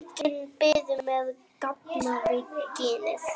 Göngin biðu með gapandi ginið.